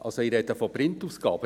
Ich spreche von Print-Ausgaben.